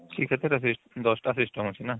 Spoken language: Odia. କି ୧୦ ଟା system ଅଛି ନା